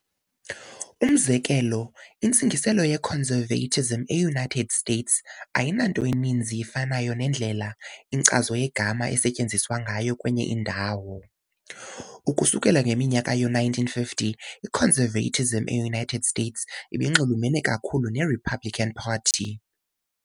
Umzekelo- Intsingiselo "ye- conservatism " e- United States ayinanto ininzi ifanayo nendlela inkcazo yegama esetyenziswa ngayo kwenye indawo. Ukusukela ngeminyaka yoo-1950 i-Conservatism e-United States ibinxulumene ikakhulu ne- Republican Party .